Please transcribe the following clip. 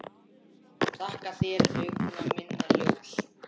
Þakka þér, augna minna ljós.